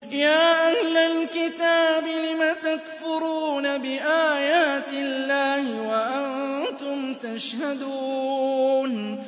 يَا أَهْلَ الْكِتَابِ لِمَ تَكْفُرُونَ بِآيَاتِ اللَّهِ وَأَنتُمْ تَشْهَدُونَ